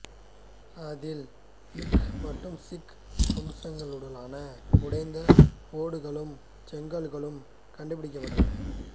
அதில் மிங் மற்றும் சிங் வம்சங்களுடனான உடைந்த ஓடுளும் செங்கற்களும் கண்டுபிடிக்கப்பட்டன